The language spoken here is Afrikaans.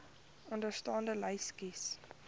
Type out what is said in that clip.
onderstaande lys kies